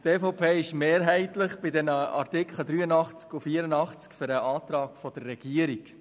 Die Mehrheit der EVPFraktion ist bei den Artikeln 83 und 84 mehrheitlich für den Antrag der Regierung.